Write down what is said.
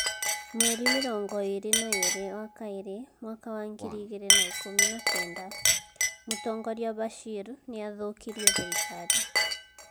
Mweri mĩrongo ĩĩrĩ na ire wa Kaĩrĩ mwaka wa ngiri igĩrĩ na ikũmi na kenda - Mũtongoria Bashir nĩ athũũkirie thirikari.